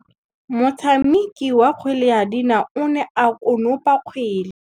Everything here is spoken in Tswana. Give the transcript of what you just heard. Motshameki wa kgwele ya dinaô o ne a konopa kgwele.